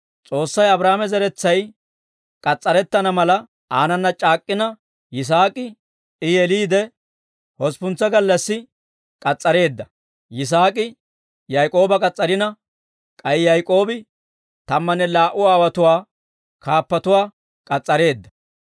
S'oossay Abraahaame zeretsay k'as's'arettana mala aanana c'aak'k'ina, Yisaak'a I yeliide, hosppuntsa gallassi k'as's'areedda; Yisaak'i Yaak'ooba k'as's'arina, k'ay Yaak'oobi tammanne laa"u aawotuwaa kaappatuwaa k'as's'areedda.